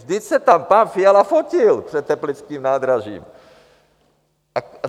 Vždyť se tam pan Fiala fotil před teplickým nádražím.